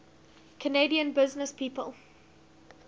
canadian businesspeople